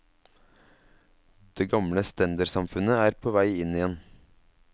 Det gamle stendersamfunnet er på vei inn igjen.